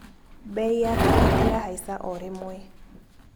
Mbei ya karati ya haica o rĩmwe.